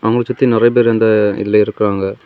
கம்பச் சுத்தி நிறைய பேர் இந்த இதுல இருக்காங்க.